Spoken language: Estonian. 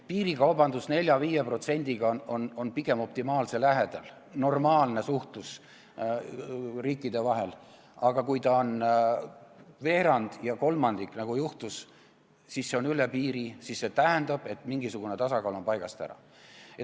Piirikaubanduse osakaal 4–5% on pigem optimaalse lähedal, normaalne suhtlus riikide vahel, aga kui see osakaal on veerand või kolmandik, nagu meil on juhtunud, siis see on üle piiri ja see tähendab, et mingisugune tasakaal on paigast ära.